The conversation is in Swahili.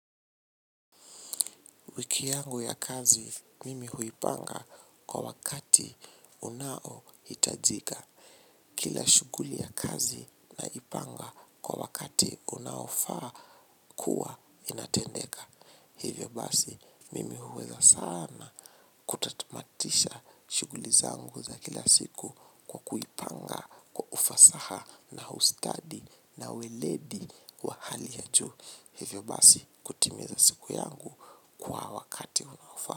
Wiki yangu ya kazi, mimi huipanga kwa wakati unaohitajika. Kila shughuli ya kazi naipanga kwa wakati unaofaa kuwa inatendeka. Hivyo basi, mimi huweza sana kutatamatisha shughuli zangu za kila siku kwa kuipanga kwa ufasaha na ustadi na weledi wa hali ya juu. Hivyo basi kutimiza siku yangu kwa wakati unaofaa.